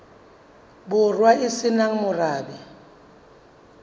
borwa e se nang morabe